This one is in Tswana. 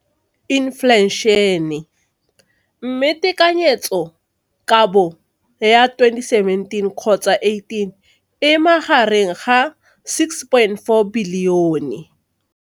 Infleišene, mme tekanyetsokabo ya 2017, 18, e magareng ga R6.4 bilione.